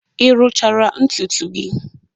Ị rụchara ntutu gị?